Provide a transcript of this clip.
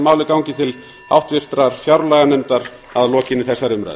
málið gangi til háttvirtrar fjárlaganefndar að lokinni þessari umræðu